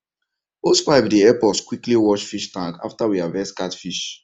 hosepipe dey help us quickly wash fish tank after we harvest catfish